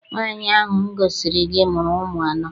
Nwaanyi ahụ m gosiri gị mụrụ ụmụ anọ.